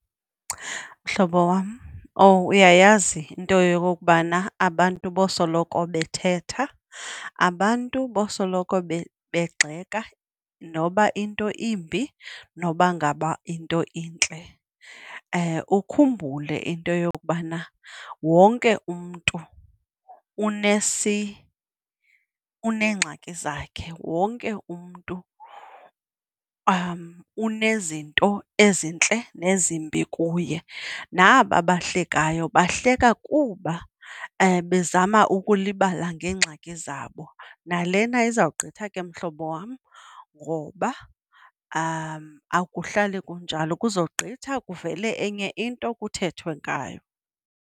Mhlobo wam, owu! Uyayazi into yokokubana abantu bosoloko bethetha, abantu bosoloko begxeka noba into imbi, noba ngaba into intle. Ukhumbule into yokubana wonke umntu uneengxaki zakhe, wonke umntu unezinto ezintle nezimbi kuye, naba bahlekayo bahleka kuba bezama ukulibala ngeengxaki zabo,. Nalena izawugqitha ke mhlobo wam ngoba akuhlali kunjalo. Kuzogqitha kuvele enye into, kuthethwe ngayo.